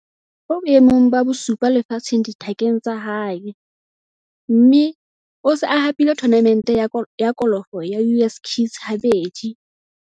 O boemong ba bosupa lefatsheng dithakeng tsa hae, mme o se a hapile thonamente ya kolofo ya US Kids habedi.